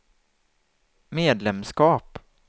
medlemskap